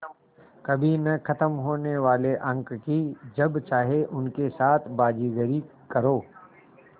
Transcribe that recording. कभी न ख़त्म होने वाले अंक कि जब चाहे उनके साथ बाज़ीगरी करो